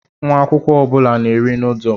Nwa akwụkwọ ọ bụla na-eri noodlu.